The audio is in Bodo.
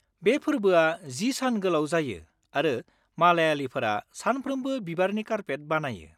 बे फोरबोआ 10 सान गोलाव जायो आरो मालायालिफोरा सानफ्रोमबो बिबारनि कारपेट बानायो।